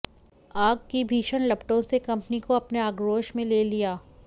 आग की भीषण लपटों से कंपनी को अपने आग्रोश में ले लिया